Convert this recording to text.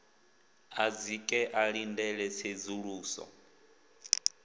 a dzike a ḽindele tsedzuluso